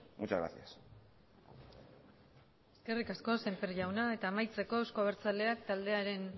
muchas gracias eskerrik asko semper jaunak eta amaitzeko eusko abertzaleak taldearen